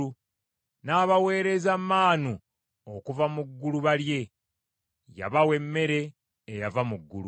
N’abaweereza maanu okuva mu ggulu balye. Yabawa emmere eyava mu ggulu.